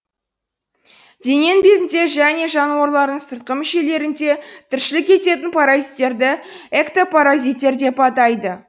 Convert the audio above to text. дененің бетінде және жануарлардың сыртқы мүшелерінде тіршілік ететін паразиттерді эктопаразиттер деп атайды